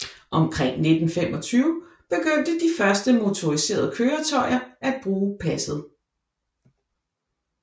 Omkring 1925 begyndte de første motoriserede køretøjer at bruge passet